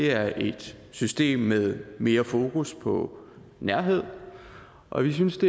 er et system med mere fokus på nærhed og vi synes at